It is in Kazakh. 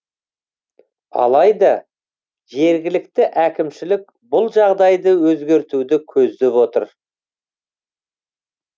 алайда жергілікті әкімшілік бұл жағдайды өзгертуді көздеп отыр